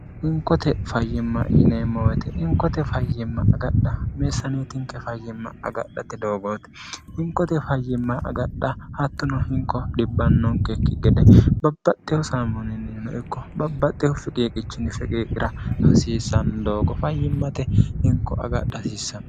hinkote fayyimma yineemmowoyte inkote fayyimma agadha meessaaneetinke fayyimma agadhate doogoote hinkote fayyimma agadha hattuno hinko dhibbannonkekki gede babbaxxehu saamoninnino ikko babbaxxehu fiqeeqichinni fiqeeqira hasiissanni doogo fayyimmate hinko agadha hasiissamo